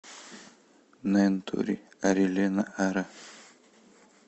нентори арилена ара